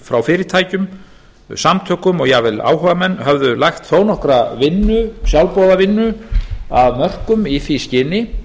frá fyrirtækjum samtökum og jafnvel áhugamenn höfðu lagt þó nokkra vinnu sjálfboðavinnu af mörkum í því skyni